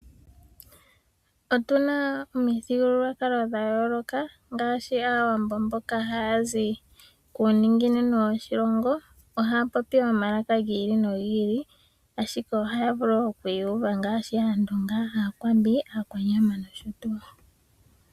Otu na omithigululwakalo dha yooloka ngaashi Aawambo mboka haya zi kuuninginino woshilongo. Ohaya popi omalaka gi ili nogi ili, ashike ohaya vulu oku iyuva nAandonga, Aakwambi, Aakwanyama nosho tuu.